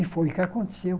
E foi o que aconteceu.